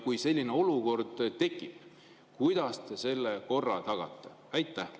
Kui selline olukord tekib, siis kuidas te selle korra tagate?